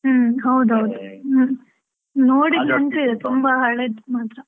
ಹ್ಮ್, ಹೌದ್ ಹೌದು. ತುಂಬಾ ಹಳೇದು ಮಾತ್ರ.